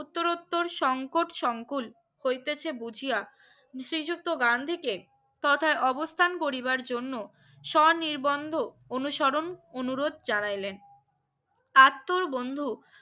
উত্তর রত্তর সংকট সংকুল হইতেছে বুঝিয়া শ্রীযক্ত গান্ধী কে তথায় অবস্থান করিবার জন্য সনির্বন্ধ অনুসরণ অনুরোধ জানালেন আঁত তো বন্ধু